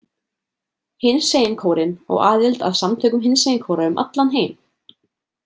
Hinsegin kórinn á aðild að samtökum hinsegin kóra um allan heim.